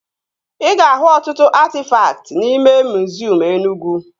Ị ga-ahụ ọtụtụ atịfakt n'ime miziọm Enugwu